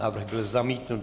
Návrh byl zamítnut.